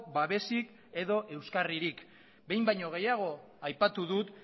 babesik edo euskarririk behin baino gehiago aipatu dut